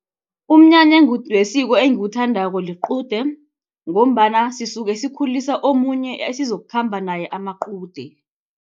Umnyanya wesiko engiwuthandako liqude. Ngombana sisuke sikhulisa omunye esizokukhamba naye iqude.